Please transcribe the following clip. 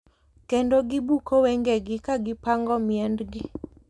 Kendo gibuko wengegi ka gipango miendgi.